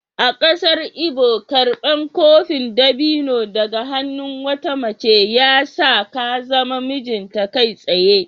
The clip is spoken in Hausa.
A kasar Igbo, karbar kofin dabino daga hannun wata mace ya sa ka zama mijinta kai tsaye.